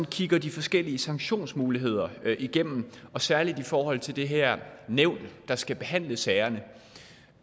kigger de forskellige sanktionsmuligheder igennem og særlig i forhold til det her nævn der skal behandle sagerne